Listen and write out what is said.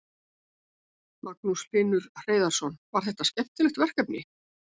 Magnús Hlynur Hreiðarsson: Var þetta skemmtilegt verkefni?